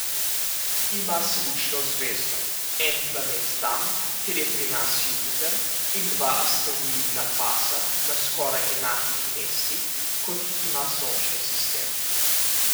Ima slično zvezdo, en planet tam, kjer je pri nas Jupiter, in dva asteroidna pasa na skoraj enakih mestih kot jih ima Sončni sistem.